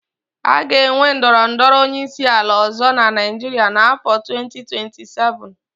A ga-enwe ndọrọ ndọrọ onyeisiala ọ̀zọ́ na Naịjiria n'áfọ 2027.